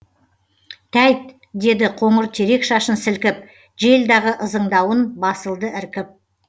тәйт деді қоңыр терек шашын сілкіп жел дағы ызыңдауын басылды іркіп